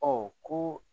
Ɔ ko